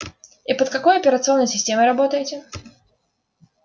и под какой операционной системой работаете